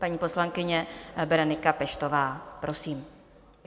Paní poslankyně Berenika Peštová, prosím.